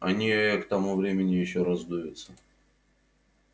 они э-э к тому времени ещё раздуются